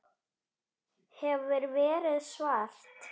Hefur verið svart.